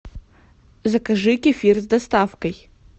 закажи кефир с доставкой